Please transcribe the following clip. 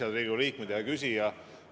Head Riigikogu liikmed ja hea küsija!